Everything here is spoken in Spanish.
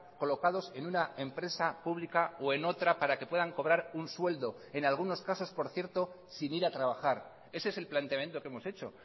colocados en una empresa pública o en otra para que puedan cobrar un sueldo en algunos casos por cierto sin ir a trabajar ese es el planteamiento que hemos hecho